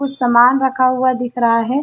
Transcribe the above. कुछ सामान रखा हुआ दिख रहा है।